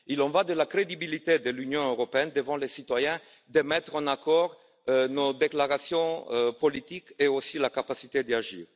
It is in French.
Il en va de la crédibilité de l'Union européenne devant les citoyens de mettre en accord nos déclarations politiques et notre capacité d'agir.